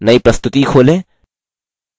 एक नई प्रस्तुति खोलें